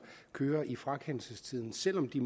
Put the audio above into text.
kører i frakendelsestiden selv om de